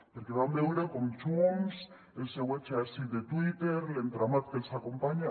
perquè vam veure com junts el seu exèrcit de twitter l’entramat que els acompanya